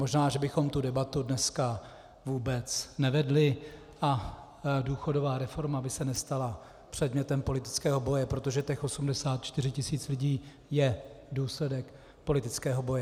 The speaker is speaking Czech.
Možná že bychom tu debatu dneska vůbec nevedli a důchodová reforma by se nestala předmětem politického boje, protože těch 84 tisíc lidí je důsledek politického boje.